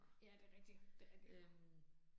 Ja det er rigtigt, det er rigtigt